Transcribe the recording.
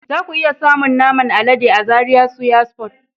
Zaku iya samun naman alade a Zaria Suya Spot.